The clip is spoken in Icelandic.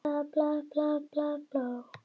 Og maðurinn minn er fallegur.